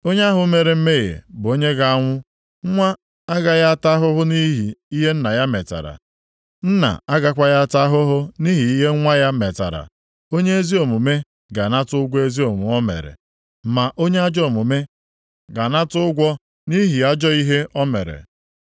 Onye ahụ mere mmehie bụ onye ga-anwụ. Nwa agaghị ata ahụhụ nʼihi ihe nna ya metara, nna agakwaghị ata ahụhụ nʼihi ihe nwa ya metara. Onye ezi omume ga-anata ụgwọ ezi omume o mere, ma onye ajọ omume ga-anata ụgwọ nʼihi ajọ ihe o mere.